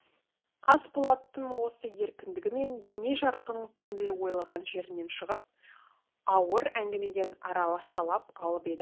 қасболаттың осы еркіндігі мен еме жарқын көңілі ойлаған жерінен шығып ауыр әңгімеден арашалап алып еді